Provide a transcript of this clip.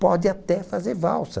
Pode até fazer valsa.